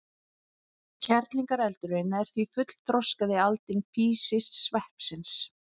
Kerlingareldurinn er því fullþroskað aldin físisveppsins.